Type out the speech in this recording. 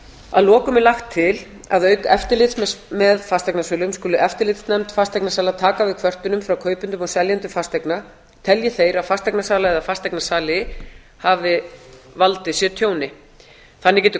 að lokum er lagt til að auk eftirlits með fasteignasölum skuli eftirlitsnefnd fasteignasala taka við kvörtunum frá kaupendum og seljendum fasteigna telji þeir að fasteignasala eða fasteignasali hafi valdið sér tjóni þannig geta kaupendum